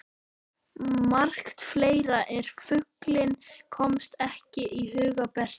Margt fleira en fuglinn komst ekki að í huga Bertu.